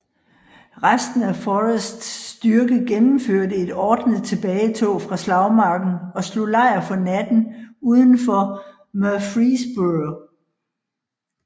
Resten af Forrests styrke gennemførte et ordnet tilbagetog fra slagmarken og slog lejr for natten udenfor Murfreesboro